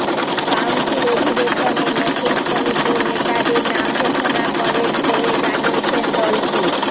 council অধিবেশনে নতুন কমিটির নেতাদের নাম ঘোষণা করেন বলে জানিয়েছেন দলটির